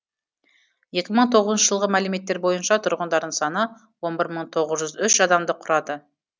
екі мың тоғызыншы жылғы мәліметтер бойынша тұрғындарының саны он бір мың тоғыз жүз үш адамды құрады